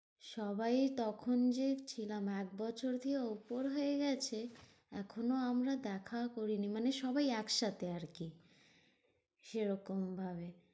সবাই তখন যে ছিলাম একবছর দিয়ে ওপর হয়ে গেছে এখনো আমরা দেখাও করিনি মানে সবাই একসাথে আরকি সেরকম ভাবে।